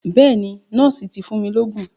Bẹ́ẹ̀ni, nọ́ọ̀sì ti fún mi lóògùn.